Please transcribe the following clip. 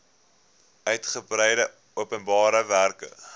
uitgebreide openbare werke